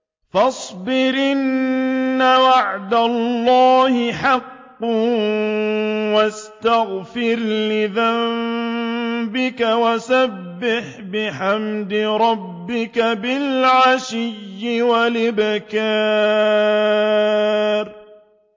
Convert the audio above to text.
فَاصْبِرْ إِنَّ وَعْدَ اللَّهِ حَقٌّ وَاسْتَغْفِرْ لِذَنبِكَ وَسَبِّحْ بِحَمْدِ رَبِّكَ بِالْعَشِيِّ وَالْإِبْكَارِ